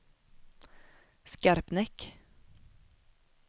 Skarpnäck